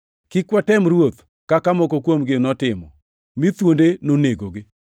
Kik watem Ruoth, kaka moko kuomgi notimo, mi thuonde nonegogi.